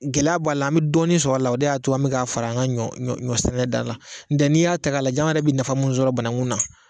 Gɛlɛya b'a la an bɛ dɔɔnin sɔrɔ a la o de y'a to an bɛ k'a fara an ka ɲɔ sɛnɛ da kan la n'i y'a ta k'a lajɛ anw yɛrɛ bɛ nafa minnu sɔrɔ bananku na